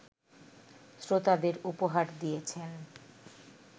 শ্রোতাদের উপহার দিয়েছেন